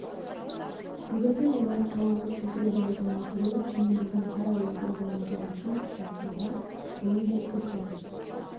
бүгінде олар тауарлық бекіре балығын өсіру және одан қара уылдырық алу жобасын іске асыруға қол жеткізді